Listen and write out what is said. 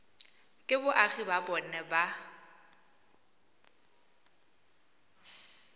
ke boagi ba bona ba